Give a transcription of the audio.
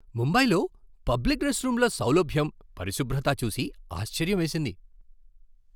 ముంబైలో పబ్లిక్ రెస్ట్రూమ్ల సౌలభ్యం, పరిశుభ్రత చూసి ఆశ్చర్యమేసింది.